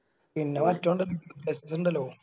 പിന്നെ മറ്റൊണ്ട് ഇതിണ്ടല്ലോ